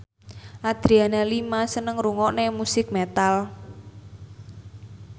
Adriana Lima seneng ngrungokne musik metal